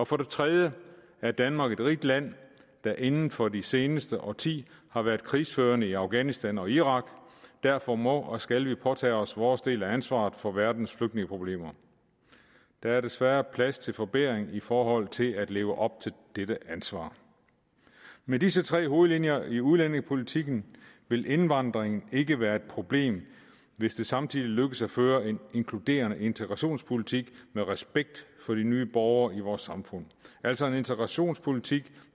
for det tredje er danmark et rigt land der inden for det seneste årti har været krigsførende i afghanistan og irak derfor må og skal vi påtage os vores del af ansvaret for verdens flygtningeproblemer der er desværre plads til forbedring i forhold til at leve op til dette ansvar med disse tre hovedlinjer i udlændingepolitikken vil indvandring ikke være et problem hvis det samtidig lykkes at føre en inkluderende integrationspolitik med respekt for de nye borgere i vores samfund altså en integrationspolitik